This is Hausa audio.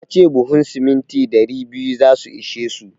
Ya ce buhun siminti ɗari biyu za su ishe su.